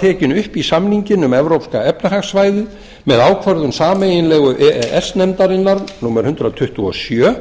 tekin upp í samninginn um evrópska efnahagssvæðið með ákvörðun sameiginlegu e e s nefndarinnar númer hundrað tuttugu og sjö